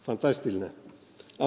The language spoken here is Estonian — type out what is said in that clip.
Fantastiline!